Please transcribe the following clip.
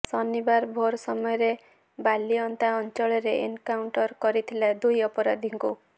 ଶନିବାର ଭୋର ସମୟରେ ବାଲିଅନ୍ତା ଅଞ୍ଚଳରେ ଏନକାଉଣ୍ଟର କରିଥିଲା ଦୁଇ ଅପରାଧିଙ୍କୁ